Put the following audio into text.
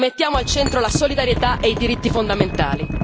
Rimettiamo al centro la solidarietà e i diritti fondamentali.